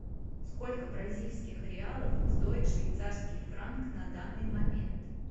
сколько бразильских реалов стоит швейцарский франк на данный момент